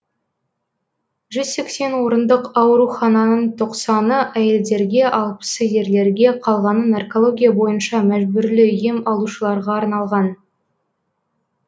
жүз сексен орындық аурухананың тоқсаны әйелдерге алпысы ерлерге қалғаны наркология бойынша мәжбүрлі ем алушыларға арналған